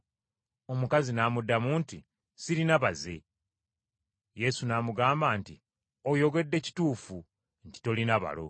Omukazi n’amuddamu nti, “Sirina baze!” Yesu n’amugamba nti, “Oyogedde kituufu nti tolina balo.